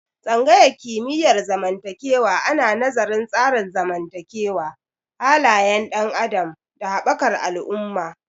Tsangayar kimiyyar zamantakewa ana nazarin tsarin zamantakewa, halayen ɗan adam, da haɓakar al'umma